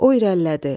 O irəlilədi.